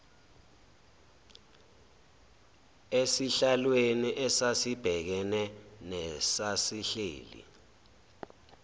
esihlalweni esasibhekene nesasihleli